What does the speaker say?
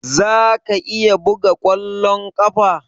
Za ka iya buga kwallon kafa?